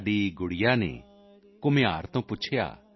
ਸਾਡੀ ਬੱਚੀ ਨੇ ਕੁਮਹਾਰ ਤੋਂ ਪੁੱਛਿਆ